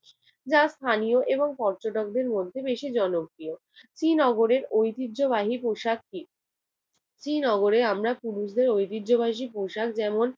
যা স্থানীয় এবং পর্যটকদের মধ্যে বেশি জনপ্রিয়। শ্রীনগরের ঐতিহ্যবাহী পোশাক কি? শ্রীনগরে আমরা পুরুষদের ঐতিহ্যবাহী পোশাক যেমন